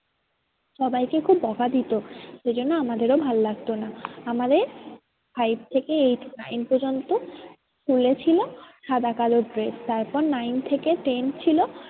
সবাইকে খুব বোকা দিতো। সেই জন্য আমাদেরও ভালো লাগতো না আমাদের five থেকে eight, nine পর্যন্ত school ছিল সাদা কালো dress তারপর nine থেকে ten ছিল